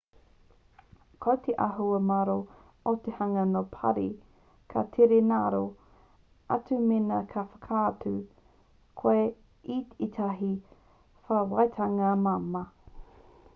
ko te āhua māro o te hunga nō parī ka tere ngaro atu mēnā ka whakaatu koe i ētahi atawhaitanga māmā